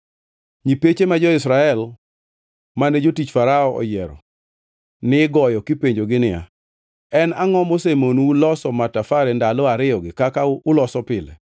Nyipeche ma jo-Israel mane jotich Farao oyiero nigoyo kipenjogi niya, “En angʼo mosemonou loso matafare ndalo ariyogi kaka uloso pile?”